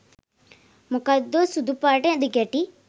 මොකක්දෝ සුදු පාට දිගැටි